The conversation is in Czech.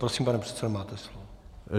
Prosím, pane předsedo, máte slovo.